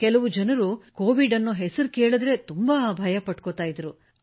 ಕೆಲವು ಜನರು ಕೋವಿಡ್ ಹೆಸರು ಕೇಳಿದರೇ ಹೆದರುತ್ತಿದ್ದರು